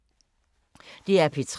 DR P3